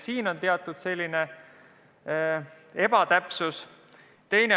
Valitseb selline ebakõla.